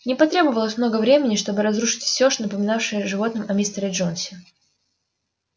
не потребовалось много времени чтобы разрушить всё напоминавшее животным о мистере джонсе